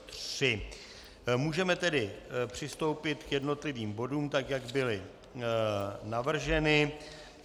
Můžeme tedy přistoupit k jednotlivým bodům, tak jak byly navrženy.